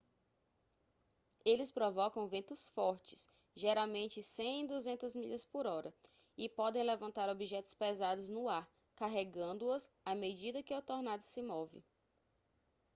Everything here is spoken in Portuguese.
eles provocam ventos fortes geralmente 100-200 milhas/hora e podem levantar objetos pesados no ar carregando-os à medida que o tornado se move